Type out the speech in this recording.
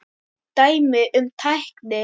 Dæmi um tækni